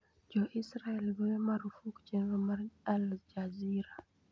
Jo-Israel goyo marfuk chenro mar Al Jazeera